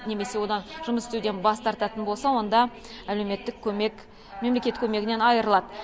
немесе одан жұмыс істеуден бас тартатын болса онда әлеуметтік көмек мемлекет көмегінен айрылады